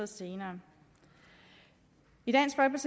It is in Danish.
senere i dansk